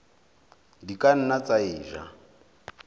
di ka nna tsa eja